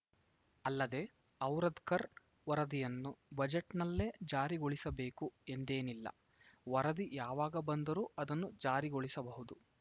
ಅಲ್ಲದೆ ಔರಾದಕರ್‌ ವರದಿಯನ್ನು ಬಜೆಟ್‌ನಲ್ಲೇ ಜಾರಿಗೊಳಿಸಬೇಕು ಎಂದೇನಿಲ್ಲ ವರದಿ ಯಾವಾಗ ಬಂದರೂ ಅದನ್ನು ಜಾರಿಗೊಳಿಸಬಹುದು